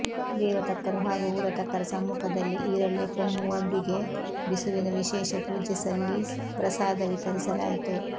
ದೇವತಕ್ಕರು ಹಾಗೂ ಊರುತಕ್ಕರ ಸಮ್ಮುಖದಲ್ಲಿ ಈರಳೆ ಪೊವ್ವೊದಿಗೆ ಬಿಸುವಿನ ವಿಶೇಷ ಪೂಜೆಸಲ್ಲಿ ಪ್ರಸಾದ ವಿತರಿಸಲಾಯಿತು